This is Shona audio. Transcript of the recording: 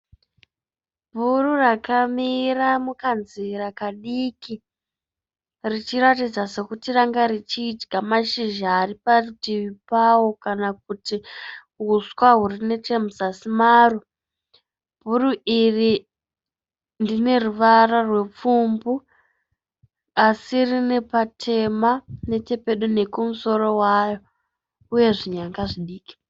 Bhuru rakamira mukanzira kadiki richiratidza sokuti ranga richidya mashizha ari parutivi pavo kana kuti uswa huri nechemuzasi maro. Bhuru iri rine ruvara rupfumbu asi rine patema nechepedo nekumusoro waro uye zvinyanga zvidiki.